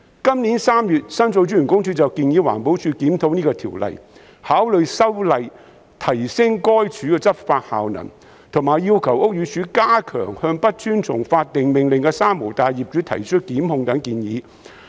今年3月，申訴專員公署建議環保署檢討這項條例，考慮修例提升該署的執法效能，以及要求屋宇署加強向不遵從法定命令的"三無大廈"業主提出檢控。